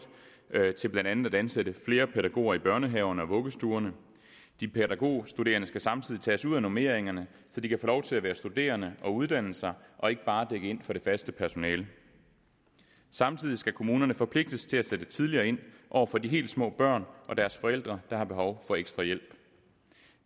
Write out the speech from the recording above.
til blandt andet at ansætte flere pædagoger i børnehaverne og vuggestuerne de pædagogstuderende skal samtidig tages ud af normeringerne så de kan få lov til at være studerende og uddanne sig og ikke bare dække ind for det faste personale samtidig skal kommunerne forpligtes til at sætte tidligere ind over for de helt små børn og deres forældre der har behov for ekstra hjælp